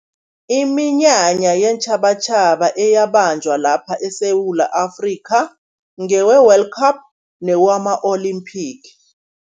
Iminyanya yeentjhabatjhaba eyabanjwa lapha eSewula Afrika, ngewe-World Cup newama-olimphigi.